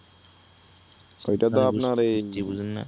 অইটা তো আপনার এই জি বুঝেন না?